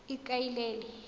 ikaelele